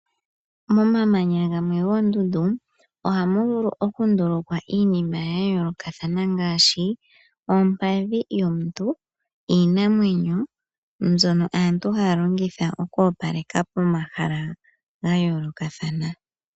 Momamanya gamwe goondundu , ohamu vulu okundulukwa iinima ya yoolokathana ngaashi, ompadhi yomuntu, iinamwenyo, mbyono aantu haya longitha oku opaleka pomahala ga yoolokathana.